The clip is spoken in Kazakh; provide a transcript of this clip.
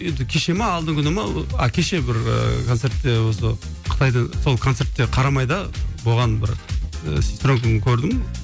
енді кеше ме алдыңғы күні ме ы кеше бір ыыы концертте осы қытайда сол концертте қарамайда болған бір ыыы сестренкамды көрдім